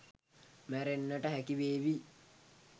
මැරෙන්නට හැකි වේවි.